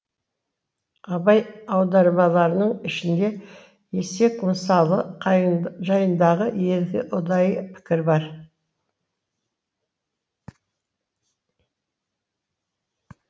абай аудармаларының ішінде есек мысалы жайында екі ұдайы пікір бар